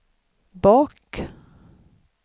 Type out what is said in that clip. bak